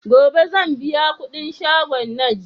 Gobe sanbiya kudin shagon naj